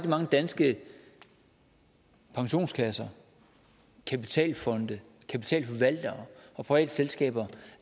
mange danske pensionskasser kapitalfonde kapitalforvaltere og private selskaber